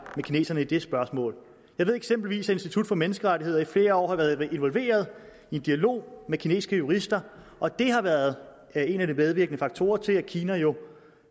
med kineserne i det spørgsmål jeg ved eksempelvis at institut for menneskerettigheder i flere år har været involveret i en dialog med kinesiske jurister og det har været en af de medvirkende faktorer til at kina jo